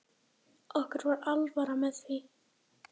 Okkur var alvara með því.